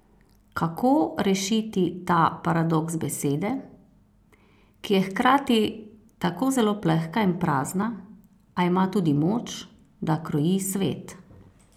Kako rešiti ta paradoks besede, ki je hkrati tako zelo plehka in prazna, a ima tudi moč, da kroji svet?